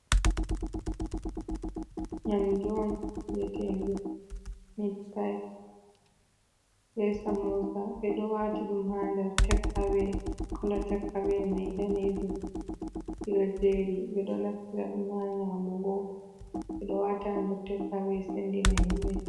Nƴamdu'on wi'etenduu mitpayiit be saamosa. Ɓeɗo waati ɗum ha nder tek awee koolo tek awee mai daneejum. Ɗiɗoo jeri ɓeɗo nafitiraɗum ha nƴaamugo, ɓeɗo waata ha nder tek awee seendina himbee.